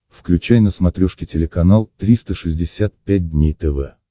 включай на смотрешке телеканал триста шестьдесят пять дней тв